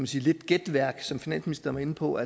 sige gætværk som finansministeren var inde på